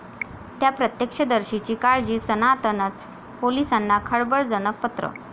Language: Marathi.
त्या' प्रत्यक्षदर्शीची काळजी, 'सनातन'चं पोलिसांना खळबळजनक पत्र